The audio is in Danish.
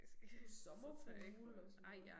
Så får du sommerfugle og sådan noget